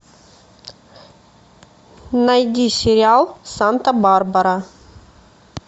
найди сериал санта барбара